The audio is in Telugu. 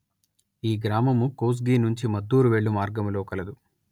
ఈ గ్రామము కోస్గి నుంచి మద్దూరు వెళ్ళు మార్గములో కలదు